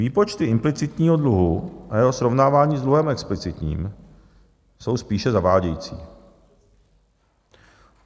Výpočty implicitního dluhu a jeho srovnávání s dluhem explicitním jsou spíše zavádějící.